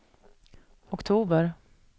oktober